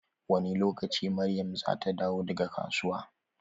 Wani lokaci Maryam zata dawo daga kasuwa?